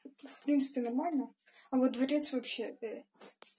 в принципе нормально а вот дворец вообще фе